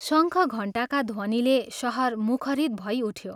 शंख घण्टाका ध्वनिले शहर मुखरित भई उठ्यो।